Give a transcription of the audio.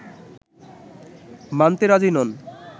মানতে রাজি নন